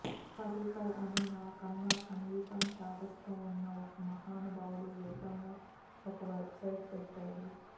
పర్రీకర్ అని నాకన్నా సంగీతం చాదస్తం ఉన్న ఒక మహానుభావుడు ఏకంగా ఒక వెబ్సైట్ పెట్టాడు